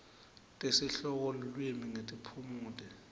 tesihloko lulwimi netiphumuti